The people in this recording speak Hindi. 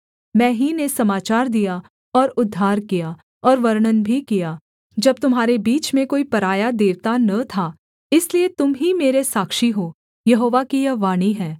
मैं ही ने समाचार दिया और उद्धार किया और वर्णन भी किया जब तुम्हारे बीच में कोई पराया देवता न था इसलिए तुम ही मेरे साक्षी हो यहोवा की यह वाणी है